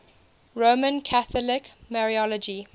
roman catholic mariology